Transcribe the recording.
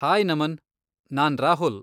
Hi Naman! ನಾನ್ ರಾಹುಲ್.